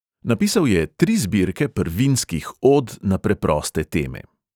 Napisal je tri zbirke prvinskih od na preproste teme.